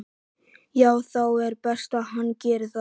Já það er best að hann geri það.